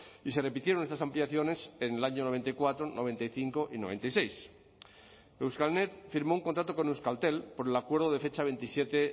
y se repitieron estas ampliaciones en el año noventa y cuatro noventa y cinco y noventa y seis euskalnet firmó un contrato con euskaltel por el acuerdo de fecha veintisiete